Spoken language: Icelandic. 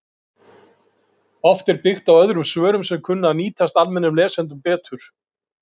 Oft er byggt á öðrum svörum sem kunna að nýtast almennum lesendum betur.